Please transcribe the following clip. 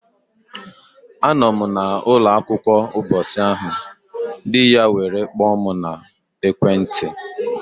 A nọ m na ụnọ akwukwa mbọsị ahụ, di ya were kpoo m na ekwe nti.